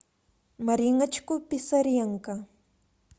мариночку писаренко